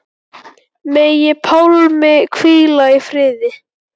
Megi Pálmi hvíla í friði.